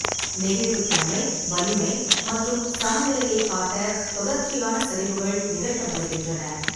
நெகிழ்வுத்தன்மை, வலிமை மற்றும் சமநிலையைக் காட்ட தொடர்ச்சியான சரிவுகள் நிகழ்த்தப்படுகின்றன.